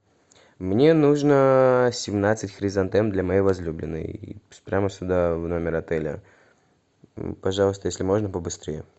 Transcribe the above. мне нужно семнадцать хризантем для моей возлюбленной прямо сюда в номер отеля пожалуйста если можно побыстрее